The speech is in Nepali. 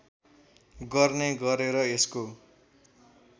गर्ने गरेर यसको